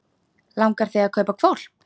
Langar þig að kaupa hvolp?